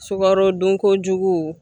Sukaro dun kojugu.